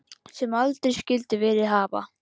Sem aldrei skyldi verið hafa.